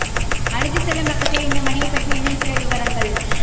அழைத்து செல்லும் பக்கத்தில் இந்த மணியைப் பற்றி இன்னும் சில விவரங்கள்